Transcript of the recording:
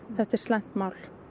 þetta er slæmt mál